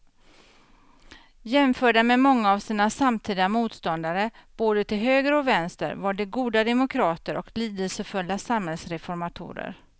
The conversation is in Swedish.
Jämförda med många av sina samtida motståndare både till höger och vänster var de goda demokrater och lidelsefulla samhällsreformatorer.